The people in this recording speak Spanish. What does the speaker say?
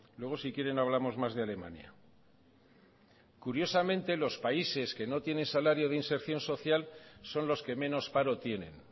luego si quieren hablamos más de alemania curiosamente los países que no tienen salario de inserción social son los que menos paro tienen